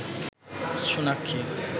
Sonakshi